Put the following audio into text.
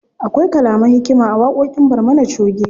Akwai kalaman hikima a waƙoƙin barmana choge.